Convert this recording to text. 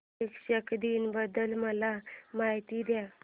शिक्षक दिन बद्दल मला माहिती दे